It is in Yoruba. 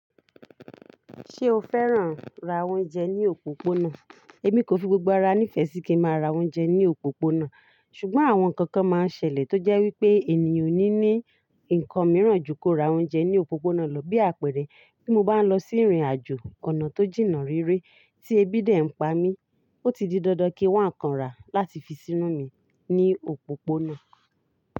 Ṣé o fẹ́ràn ra oúnjẹ ní òpópónà? Èmi kò fi gbogbo ara nífẹ̀ẹ́ sí kí n máa ra oúnjẹ ní òpópónà, ṣùgbọ́n àwọn nǹkan kan máa ń ṣẹlẹ̀ tó jẹ́ wípé ènìyàn ò ní ní ǹkan mìíràn ju kó ra oúnjẹ ní òpópónà lọ, bí àpẹẹrẹ, bí mo bá ń lọ sí ìrìnàjò ọ̀nà tó jìnnà réré tí ebí dè ń pa mí, ó ti di dandan kí wọ́n kanra láti fi sínú mi ní òpópónà.